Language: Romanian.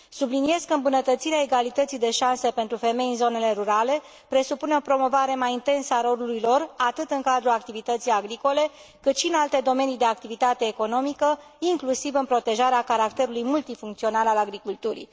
Subliniez că îmbunătățirea egalității de șanse pentru femei în zonele rurale presupune o promovare mai intensă a rolului lor, atât în cadrul activității agricole, cât și în alte domenii de activitate economică, inclusiv în protejarea caracterului multifuncțional al agriculturii.